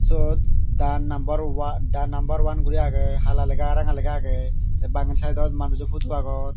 suot the number wa the number one gori lega agey hala lega ah ranga lega agey te bangedi saidot manujo pudu agon.